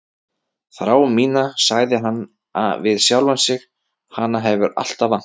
Þrá mína, sagði hann við sjálfan sig, hana hefur alltaf vantað.